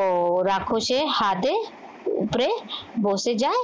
ও রাক্ষসের হাদে উপরে যায় বসে যায়